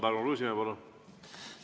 Tarmo Kruusimäe, palun!